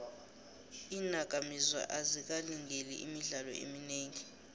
iinakamizwa azikalingeli imidlalo eminingi